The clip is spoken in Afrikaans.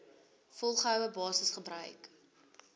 volgehoue basis gebruik